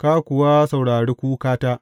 ka kuwa saurari kukata.